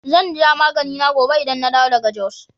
Zan sha maganina gobe idan na dawo daga Jos